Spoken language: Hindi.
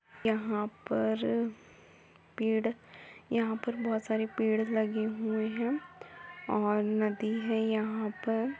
यहाँ पर पेड़ यहाँ पर बहोत सारे पेड़ लगे हुए हैं और नदी है यहाँ पर।